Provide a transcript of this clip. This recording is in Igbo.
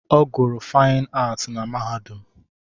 Ọ gụrụ Faịn Aatị na mahadum.